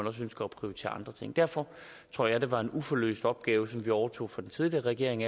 også ønsker at prioritere andre ting derfor tror jeg det var en uløst opgave som vi overtog fra den tidligere regering